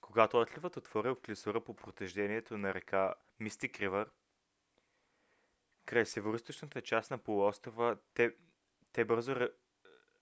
когато отливът отворил клисура по протежението на реката мистик ривър край североизточната част на полуострова те бързо